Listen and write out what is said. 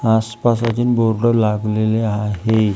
आसपास अजून बोर्ड लागलेले आहे.